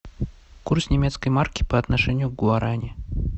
курс немецкой марки по отношению к гуарани